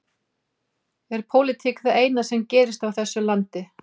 Er pólitík það eina sem gerist á þessu landi?